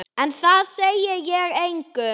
En það segi ég engum.